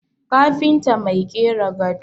kafinta Mai kera gado